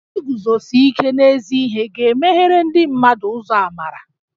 Iguzosi ike n'ezi ihe ga-emeghere ndị mmadụ ụzọ amarà